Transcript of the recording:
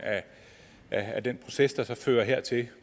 af den proces der så fører hertil